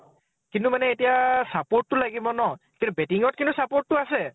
কিন্তু এতিয়া support তো লাগিব ন । কিন্তু batting কিন্তু support তো আছে ।